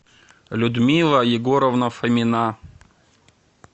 людмила егоровна фомина